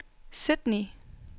Sydney